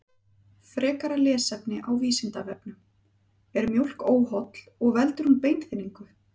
Frekara lesefni á Vísindavefnum: Er mjólk óholl og veldur hún beinþynningu?